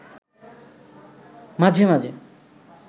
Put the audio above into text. মাঝে মাঝে